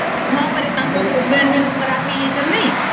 ହଁ ପରା ତାଙ୍କର husband ଖରାପ ହେଇଯାଇଛନ୍ତି ନାଇଁ